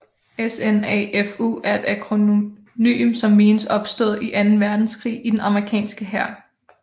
SNAFU er et akronym som menes opstået i anden verdenskrig i den amerikanske hær